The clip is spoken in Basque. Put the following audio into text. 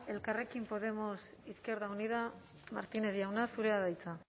elkarrekin podemos izquierda unida martínez jauna zurea da hitza